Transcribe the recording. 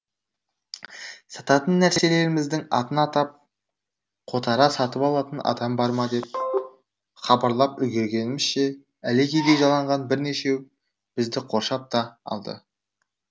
сататын нәрселеріміздің атын атап қотара сатып алатын адам бар ма деп хабарлап үлгергенімізше әлекедей жаланған бірнешеу бізді қоршап та алды